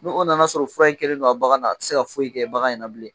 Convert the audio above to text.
Ni o nan'a sɔrɔ fura in kɛlen don bagan na a tɛ se ka foyi kɛ bagan in na bilen